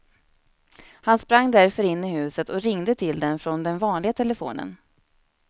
Han sprang därför in i huset och ringde till den från den vanliga telefonen.